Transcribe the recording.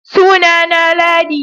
suna na na Ladi